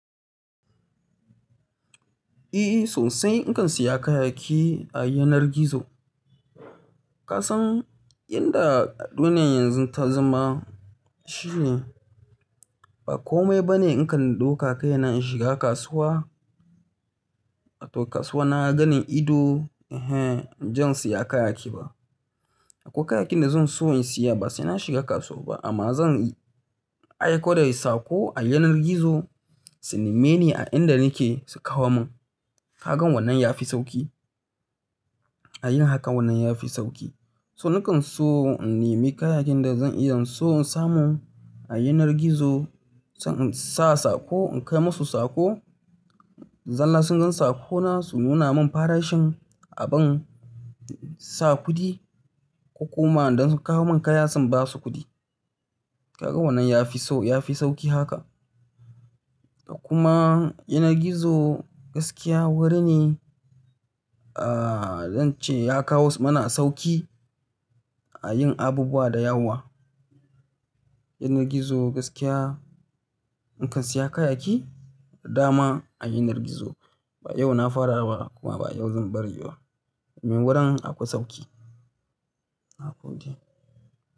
Eee, sosai in kan siya kayayyaki a yanar gizo. Kasan inda duniyar yanzu ta zama shine ba komai bane in kan ɗauko kayana in shiga kasuwa, a to kasuwa na gani ido, eh, inje in siya kayayyaki ba. Akwai kayayyakin da zan so in siya ba sai na shiga kasuwa ba amma zan yi aiko da sako a yanar gizo, su neme ni a inda nake su kawo mun. Kaga wannan ya fi sauki, a yin hakan wannan ya fi sauki. So nakan so in nemi kayakin da zan iya in so in samu a yanar gizo, sannan in sa sako in kai musu sako, zalla sun gan sakona su nuna mun farashin abun, sa kuɗi ko kuma don su kawo mun kaya sim ba su kuɗi. Kaga wannan ya fi sau, ya fi sauki haka. Kuma yanar gizo gaskiya wuri ne, aa, don ce ya kawo mana sauki a yin abubuwa da yawa. Yanar gizo gaskiya in kan siya kayayyaki, da dama a yanar gizo. Ba yau na fara ba kuma ba yau zan bari ba. Mai wurin akwai sauki. Nagode.